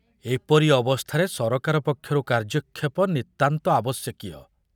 ଏପରି ଅବସ୍ଥାରେ ସରକାର ପକ୍ଷରୁ କାର୍ଯ୍ୟକ୍ଷେପ ନିତାନ୍ତ ଆବଶ୍ୟକୀୟ।